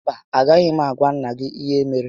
Mba, a gaghị m agwa nnà gị ihe mere